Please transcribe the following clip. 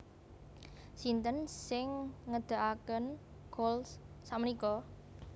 Sinten sing ngedekaken Kohl's sakmenika?